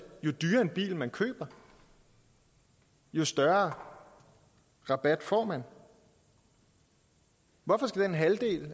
jo dyrere bil man køber jo større rabat får man hvorfor skal den halvdel